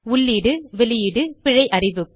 உள்ளீடு வெளியீடு பிழை அறிவிப்பு